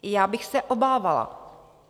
Já bych se obávala.